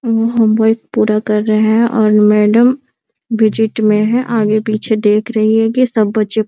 home work पूरा कर रहे है और मैडम विजिट में है आगे-पीछे देख रही है की सब बच्चे --